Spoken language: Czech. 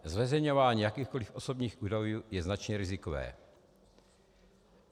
Zveřejňování jakýchkoliv osobních údajů je značně rizikové.